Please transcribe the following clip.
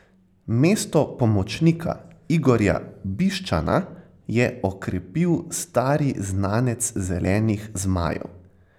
Mesto pomočnika Igorja Biščana je okrepil stari znanec zelenih zmajev.